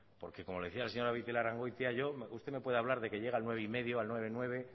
porque como le decía a la señora beitialrrangoitia yo usted me puede hablar de que llega al nueve coma cinco al nueve coma nueve